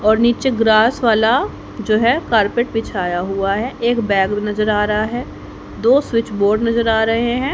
और नीचे ग्रास वाला जो है कारपेट बिछाया हुआ है एक बैग नजर आ रहा है दो स्विच बोर्ड नजर आ रहे हैं।